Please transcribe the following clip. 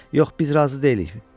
Yox, biz razı deyilik.